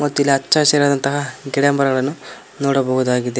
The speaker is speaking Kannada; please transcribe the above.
ಮತ್ತಿಲ್ಲಿ ಹಚ್ಚ ಹಸಿರಾದಂತಹ ಗಿಡ ಮರಗಳನ್ನು ನೋಡಬಹುದಾಗಿದೆ.